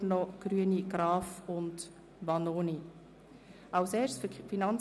Der Ausgleich dieser Lastenverschiebung aufgrund der Wirkung dieser Massnahme erfolgt gemäss Artikel 29b